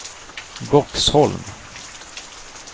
Boxholm